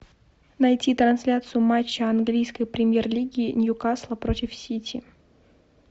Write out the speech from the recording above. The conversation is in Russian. найти трансляцию матча английской премьер лиги ньюкасла против сити